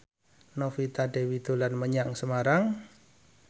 Novita Dewi dolan menyang Semarang